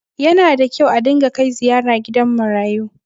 Yana da kyau a ringa kai ziyara gidan marayu.